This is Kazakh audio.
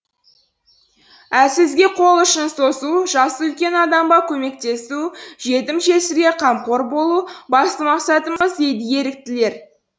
әлсізге қол ұшын созу жасы үлкен адамға көмектесу жетім жесірге қамқор болу басты мақсатымыз дейді еріктілер